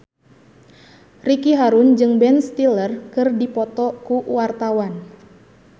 Ricky Harun jeung Ben Stiller keur dipoto ku wartawan